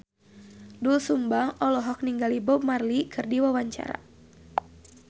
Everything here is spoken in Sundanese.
Doel Sumbang olohok ningali Bob Marley keur diwawancara